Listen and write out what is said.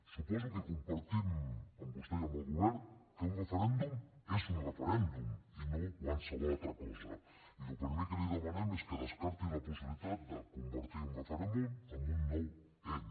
suposo que compartim amb vostè i amb el govern que un referèndum és un referèndum i no qualsevol altra cosa i el primer que li demanem és que descarti la possibilitat de convertir un referèndum en un nou n